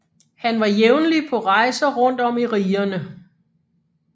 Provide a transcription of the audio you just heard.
Han var jævnlig på rejser rundt om i rigerne